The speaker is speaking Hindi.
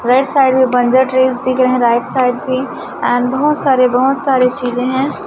राइट साइड में दिख रहे है राइट साइड पे एंड बहोत सारे बहोत सारे चीजें है।